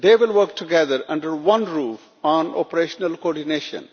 They will work together under one roof on operational coordination.